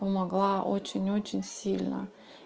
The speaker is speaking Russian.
помогла очень очень сильно